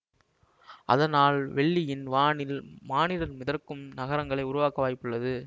அதனால் வெள்ளியின் வானில் மானிடர் மிதக்கும் நகரங்களை உருவாக்க வாய்புள்ளது